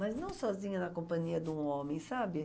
Mas não sozinha na companhia de um homem, sabe?